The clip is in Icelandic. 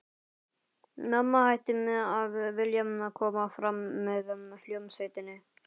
Mamma hætti að vilja koma fram með hljómsveitinni.